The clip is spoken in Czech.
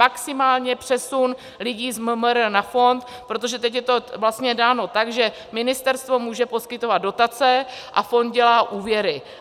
Maximálně přesun lidí z MMR na fond, protože teď je to vlastně dáno tak, že ministerstvo může poskytovat dotace a fond dělá úvěry.